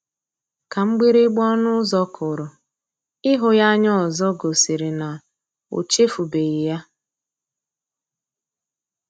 Ka mgbịrịgba ọnụ ụzọ kụrụ, ịhụ ya anya ọzọ gosiri na o echefubeghi ya.